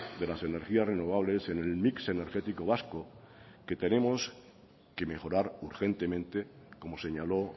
de las energías renovables en el mix energético vasco que tenemos que mejorar urgentemente como señaló